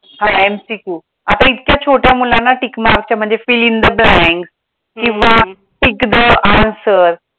हा MCQ आता इतक्या छोट्या मुलांना tickmark च्या म्हणजे fill in the blanks किंवा tick the answers